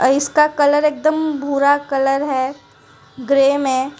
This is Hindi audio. और इसका कलर एकदम भूरा कलर है ग्रे मे--